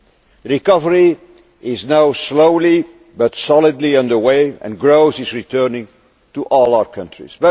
The recovery is now slowly but solidly under way, and growth is returning to all our countries.